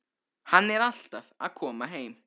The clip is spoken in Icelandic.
Hann er alltaf að koma heim.